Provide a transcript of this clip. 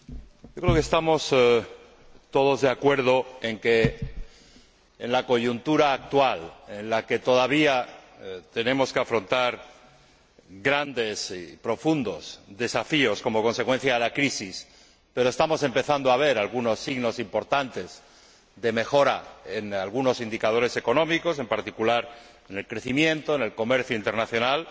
Señor Presidente, creo que estamos todos de acuerdo en que, en la coyuntura actual, en la que todavía tenemos que afrontar grandes y profundos desafíos como consecuencia de la crisis, pero estamos empezando a ver algunos signos importantes de mejora en algunos indicadores económicos, en particular en el crecimiento en el comercio internacional,